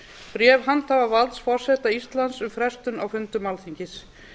bréf handhafa valds forseta íslands um frestun á fundum alþingis